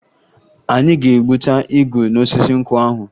Anyị ga-egbuta igu n'osisi nkwụ ahụ